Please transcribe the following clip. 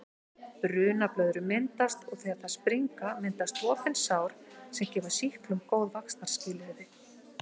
Brunablöðrur myndast og þegar þær springa myndast opin sár sem gefa sýklum góð vaxtarskilyrði.